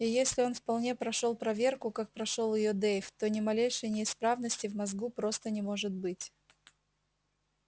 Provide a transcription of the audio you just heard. и если он вполне прошёл проверку как прошёл её дейв то ни малейшей неисправности в мозгу просто не может быть